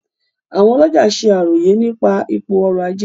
Àwọn olọ́jà se àròyé nípa ipò ọrọ́-ajé.